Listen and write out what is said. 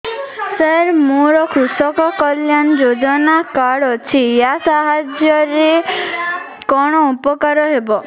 ସାର ମୋର କୃଷକ କଲ୍ୟାଣ ଯୋଜନା କାର୍ଡ ଅଛି ୟା ସାହାଯ୍ୟ ରେ କଣ ଉପକାର ହେବ